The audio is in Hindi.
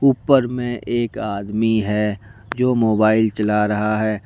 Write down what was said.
ऊपर मे एक आदमी है जो मोबाइल चला रहा है।